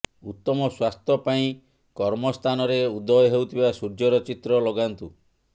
ଉତ୍ତମ ସ୍ବାସ୍ଥ୍ୟ ପାଇଁ କର୍ମ ସ୍ଥାନରେ ଉଦୟ ହେଉଥିବା ସୂର୍ୟ୍ୟର ଚିତ୍ର ଲଗାନ୍ତୁ